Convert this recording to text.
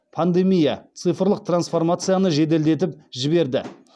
пандемия цифрлық трансформацияны жеделдетіп жіберді